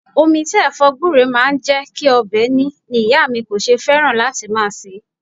Omi tí Ẹ̀fọ́ gbure máa ń jẹ́ kí ọbẹ̀ ní ni ìyá mi kò ṣe fẹ́ràn láti máa se é.